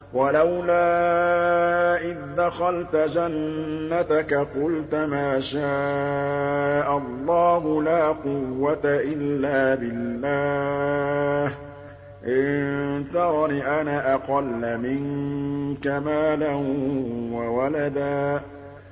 وَلَوْلَا إِذْ دَخَلْتَ جَنَّتَكَ قُلْتَ مَا شَاءَ اللَّهُ لَا قُوَّةَ إِلَّا بِاللَّهِ ۚ إِن تَرَنِ أَنَا أَقَلَّ مِنكَ مَالًا وَوَلَدًا